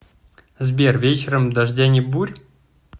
сбер вечером дождя ни бурь